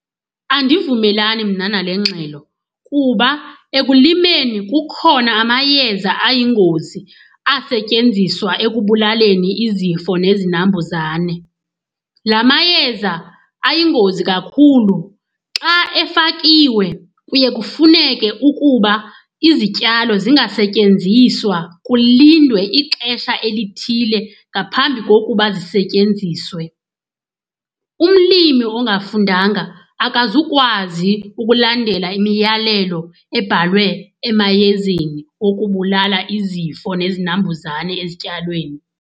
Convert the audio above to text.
Andivumelani mna nale ngxelo kuba ekulimeni kukhona amayeza ayingozi asetyenziswa ekubulaleni izifo nezinambuzane. La mayeza ayingozi kakhulu. Xa efakiwe kuye kufuneke ukuba izityalo zingasetyenziswa, kulindwe ixesha elithile ngaphambi kokuba zisetyenziswe. Umlimi ongafundanga akazukwazi ukulandela imiyalelo ebhalwe emayezeni okubulala izifo nezinambuzane ezityalweni.